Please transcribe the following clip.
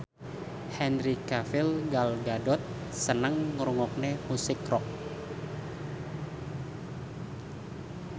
Henry Cavill Gal Gadot seneng ngrungokne musik rock